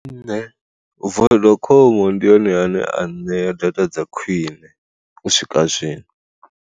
Nṋe vodacom ndi yone ane a ṋea data dza khwiṋe u swika zwino.